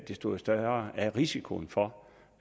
desto større er risikoen for